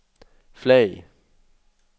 flag